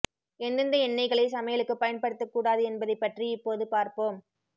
எந்தெந்த எண்ணெய்களை சமையலுக்கு பயன்படுத்த கூடாது என்பதைப் பற்றி இப்போது பார்ப்போம்